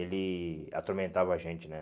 Ele atormentava a gente, né?